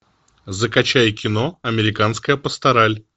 закачай кино американская пастораль